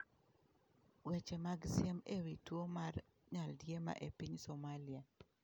Weche mag siem e wi tuwo mar nyaldiema e piny Somalia